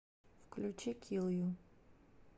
включи кил ю